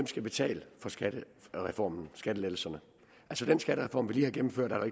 skal betale for skattereformen skattelettelserne den skattereform vi lige har gennemført er der